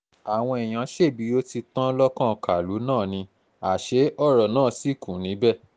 àwọn èèyàn ṣẹbí ó ti tán lọ́kàn kàlú náà ni àṣẹ ọ̀rọ̀ náà sì kù níbẹ̀